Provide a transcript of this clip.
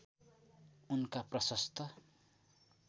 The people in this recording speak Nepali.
उनका प्रशस्त